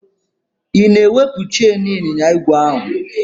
Ị na-ewepụ cheịn ịnyịnya igwe ahụ?